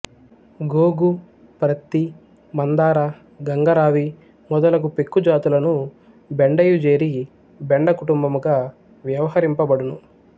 గోగు ప్రత్తి మందార గంగరావి మొదలగు పెక్కు జాతులును బెండయు జేరి బెండ కుటుంబముగా వ్యవహరింపబడును